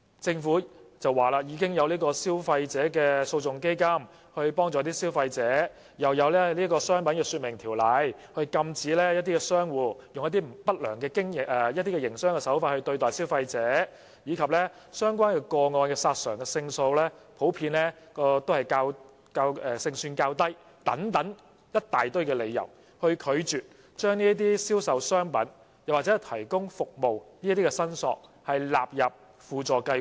政府說已有消費者訴訟基金協助消費者，又有《商品說明條例》禁止商戶以不良營商手法對待消費者，並指相關個案的索償勝算普遍較低等一大堆理由，拒絕把關於銷售商品及提供服務的申索納入輔助計劃。